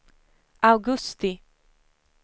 augusti